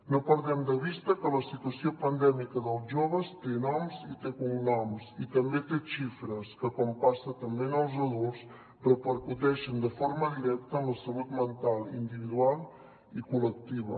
no perdem de vista que la situació pandèmica dels joves té noms i té cognoms i també té xifres que com passa també en els adults repercuteixen de forma directa en la salut mental individual i col·lectiva